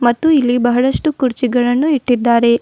ಮತ್ತು ಇಲ್ಲಿ ಬಹಳಷ್ಟು ಕುರ್ಚಿಗಳನ್ನು ಇಟ್ಟಿದ್ದಾರೆ.